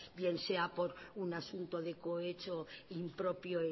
bien sea por un asunto de cohecho impropio